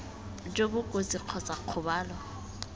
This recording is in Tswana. jo bo kotsi kgotsa kgobalo